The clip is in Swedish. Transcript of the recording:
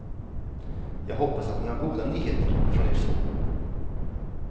Jag hoppas att ni har goda nyheter från er son.